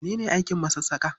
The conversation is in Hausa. Mene ne aikin masassaƙa?